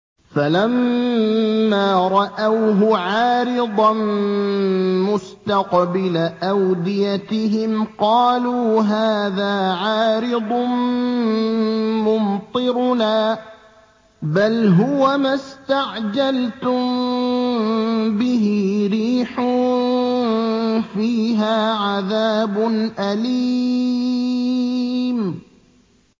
فَلَمَّا رَأَوْهُ عَارِضًا مُّسْتَقْبِلَ أَوْدِيَتِهِمْ قَالُوا هَٰذَا عَارِضٌ مُّمْطِرُنَا ۚ بَلْ هُوَ مَا اسْتَعْجَلْتُم بِهِ ۖ رِيحٌ فِيهَا عَذَابٌ أَلِيمٌ